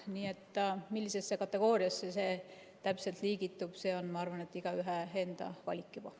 Nii et millisesse kategooriasse see täpselt liigitub, see on, ma arvan, juba igaühe enda valik.